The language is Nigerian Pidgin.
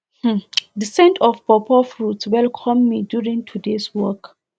um the scent of pawpaw fruits welcome me during todays walk